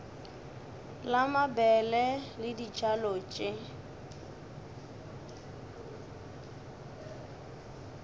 la mabele le dibjalo tše